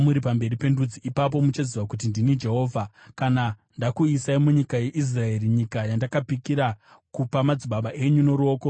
Ipapo muchaziva kuti ndini Jehovha, kana ndakuisai munyika yeIsraeri, nyika yandakapikira kupa madzibaba enyu noruoko rwakasimudzwa.